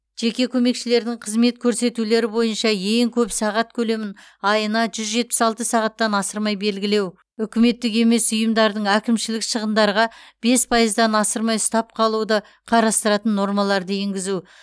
жеке көмекшілердің қызмет көрсетулері бойынша ең көп сағат көлемін айына жүз жетпіс алты сағаттан асырмай белгілеу үкіметтік емес ұйымдардың әкімшілік шығындарға бес пайыздан асырмай ұстап қалуды қарастыратын нормаларды енгізу